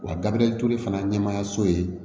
Wa gabirce fana ye ɲɛmɔgɔya so ye